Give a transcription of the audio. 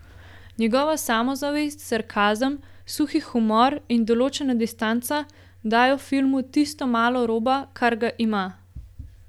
Njegova samozavest, sarkazem, suhi humor in določena distanca dajo filmu tisto malo roba, kar ga ima.